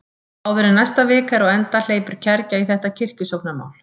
Áður en næsta vika er á enda hleypur kergja í þetta kirkjusóknarmál.